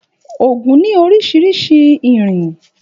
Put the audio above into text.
Ògún ni òrìṣà irin.